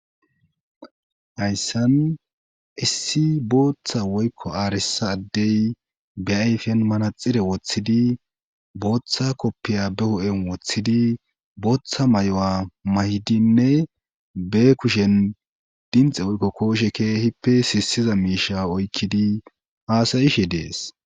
hayssan issi bootha woykko arissa adde be ayfiyan manaxire wothidi bootha kopiyiya be hu7en wothidi bootha mayuwa mayidinne be kuushen dimxe woykko kooshencha keehippe sissiza miishsha oykkidi haaa7ishe de7es.